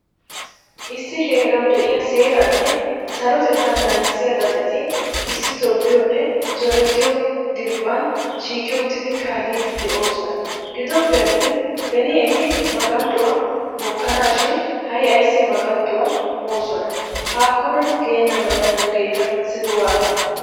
Issi heerawu de'iyaa seeranne sarotettaa naagisiyaa xaacetti issi tobbiyonne zorettiyo diriphphan shiiqi uttidi kaalidi deosona. Gidoppe attin beni etti maganxyuwaa mookkonashin hai ayse maganxxuwa moosona. Hakkona genamala nuugetta simi waatane.